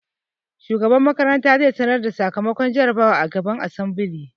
Shugaban makaranta zai sanar da sakamakon jarabawar a gaban asambile